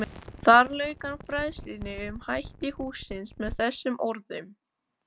Þar lauk hann fræðslunni um hætti hússins með þessum orðum